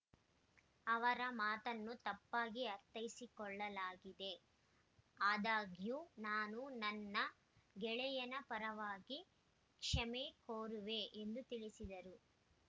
ಅವರ ಮಾತನ್ನು ತಪ್ಪಾಗಿ ಅರ್ಥೈಸಿಕೊಳ್ಳಲಾಗಿದೆ ಆದಾಗ್ಯೂ ನಾನು ನನ್ನ ಗೆಳೆಯನ ಪರವಾಗಿ ಕ್ಷಮೆ ಕೋರುವೆ ಎಂದು ತಿಳಿಸಿದರು